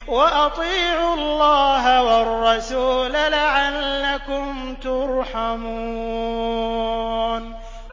وَأَطِيعُوا اللَّهَ وَالرَّسُولَ لَعَلَّكُمْ تُرْحَمُونَ